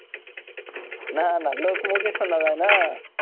না না লোকমুখে শোনা যায় না,